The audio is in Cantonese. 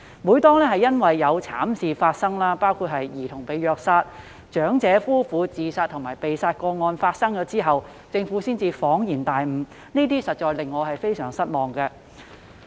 每當慘劇發生後，包括有兒童被虐殺、有長者夫婦自殺和被殺，政府才恍然大悟，實在令我感到非常失望。